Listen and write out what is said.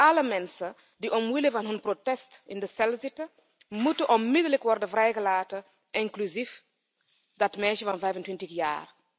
Alle mensen die omwille van hun protest in de cel zitten, moeten onmiddellijk worden vrijgelaten, inclusief dat meisje van 25 jaar.